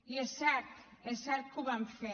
i és cert és cert que ho vam fer